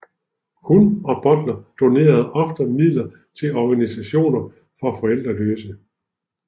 Hun og Butler donerede ofte midler til organisationer for forældreløse